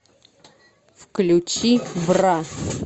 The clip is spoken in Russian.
включи бра